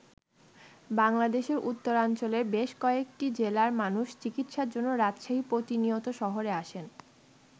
বাংলাদেশের উত্তরাঞ্চলের বেশ কয়েকটি জেলার মানুষ চিকিৎসার জন্য রাজশাহী প্রতিনিয়ত শহরে আসেন।